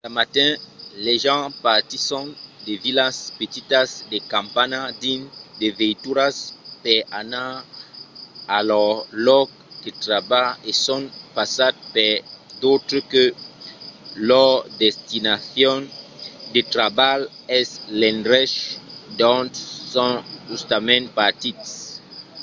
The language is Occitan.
cada matin las gents partisson de vilas petitas de campanha dins de veituras per anar a lor lòc de trabalh e son passats per d’autres que lor destinacion de trabalh es l'endrech d'ont son justament partits